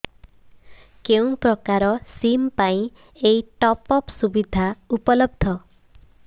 କେଉଁ ପ୍ରକାର ସିମ୍ ପାଇଁ ଏଇ ଟପ୍ଅପ୍ ସୁବିଧା ଉପଲବ୍ଧ